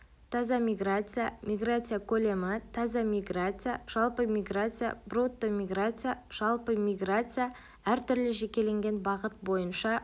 таза миграция миграция көлемі таза миграция жалпы миграция брутто миграция жалпы миграция-әр түрлі жекеленген бағыт бойынша